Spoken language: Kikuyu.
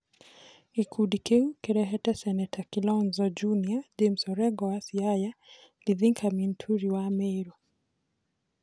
Gĩkundi kĩu kĩrĩhete seneta Kilonzo Jr, James Orengo wa Siaya, Mithika Linturi wa Merũ.